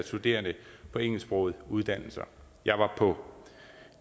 studerende på engelsksprogede uddannelser jeg var på